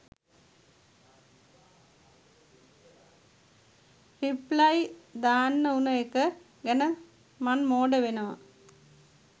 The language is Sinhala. රිප්ලයි දන්නා උන එක ගැන මන් මෝඩ වෙනවා